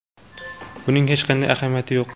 Buning hech qanday ahamiyati yo‘q.